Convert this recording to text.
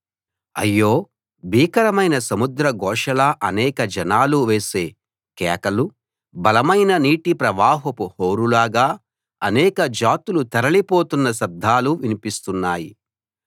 అయ్యో భీకరమైన సముద్ర ఘోషలా అనేక జనాలు వేసే కేకలు బలమైన నీటి ప్రవాహపు హోరులాగా అనేక జాతులు తరలి పోతున్న శబ్దాలూ వినిపిస్తున్నాయి